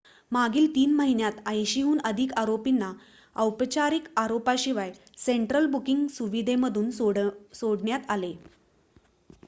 मागील 3 महिन्यांत 80 हून अधिक आरोपींना औपचारिक आरोपाशिवाय सेंट्रल बुकिंग सुविधेमधून सोडण्यात आले